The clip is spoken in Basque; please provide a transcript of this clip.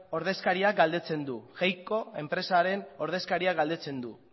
ordezkariak galdetzen du enpresaren ordezkariak galdetzen du